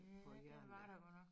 Ja det var der godt nok